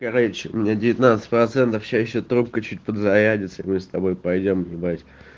короче у меня девятнадцать процентов сейчас ещё трубка чуть подзарядиться мы с тобой пойдём гулять